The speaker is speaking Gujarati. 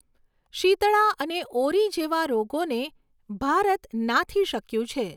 શીતળા અને ઓરી જેવા રોગોને ભારત નાથી શક્યું છે.